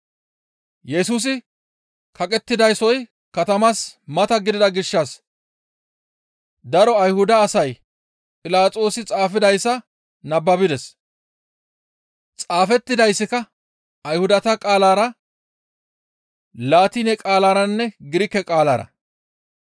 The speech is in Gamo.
Yesusi kaqettidasoy katamaas mata gidida gishshas daro Ayhuda asay Philaxoosi xaafidayssa nababides; xaafettidayssika Ayhudata qaalara, Laatine qaalaranne Girike qaalara.